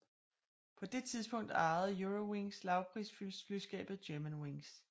På det tidspunkt ejede Eurowings lavprisflyselskabet Germanwings